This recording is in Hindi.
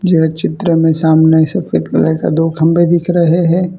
यही चित्र में सामने सफेद कलर का दो खंभे दिख रहे है।